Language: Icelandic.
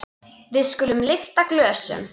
Við skulum lyfta glösum!